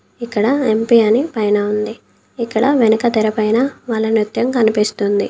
ఇక్కడ ఎం_పీ అని పైన ఉంది. ఇక్కడ వెనుక తెరపైన వాళ్ళ నృత్యం కనిపిస్తుంది.